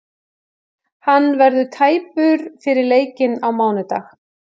Hann verður tæpur fyrir leikinn á mánudag.